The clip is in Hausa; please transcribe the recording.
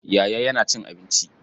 Yaya yana cin abinci.